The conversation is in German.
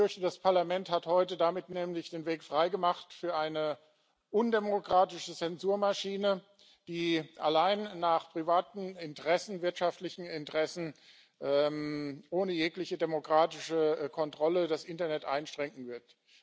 Ich fürchte nämlich, das Parlament hat heute damit den Weg frei gemacht für eine undemokratische Zensurmaschine, die allein nach privaten Interessen, wirtschaftlichen Interessen, ohne jegliche demokratische Kontrolle das Internet einschränken wird.